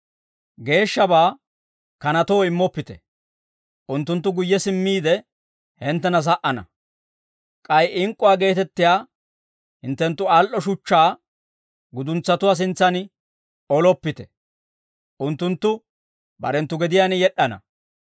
«Geeshshabaa kanatoo immoppite; unttunttu guyye simmiide, hinttena sa"ana. K'ay ink'k'uwaa geetettiyaa hinttenttu al"o shuchchaa guduntsatuwaa sintsan oloppite; unttunttu barenttu gediyaan yed'd'ana.